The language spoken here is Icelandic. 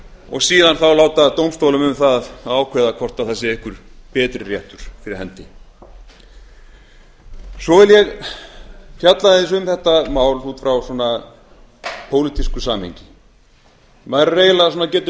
og síðan láta dómstólum um það að ákveða hvort það sé einhver betri réttur fyrir hendi svo vil ég fjalla aðeins um þetta mál út frá pólitísku samhengi maður getur